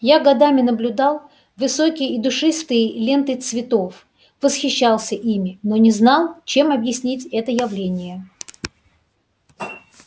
я годами наблюдал высокие и душистые ленты цветов восхищался ими но не знал чем объяснить это явление